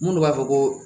Minnu b'a fɔ ko